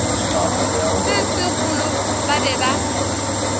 se segolo ba be ba